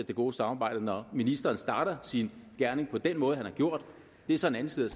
det gode samarbejde når ministeren starter sin gerning på den måde han har gjort det er så en anden side